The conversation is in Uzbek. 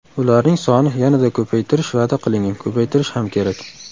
Ularning soni yanada ko‘paytirish va’da qilingan, ko‘paytirish ham kerak.